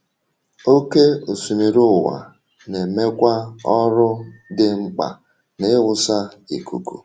Oké osimiri ụwa na-emekwa ọrụ dị mkpa n’ịwụsa ikuku.